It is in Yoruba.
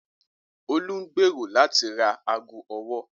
Olú ń gbèrò láti ra ago ọwọ́.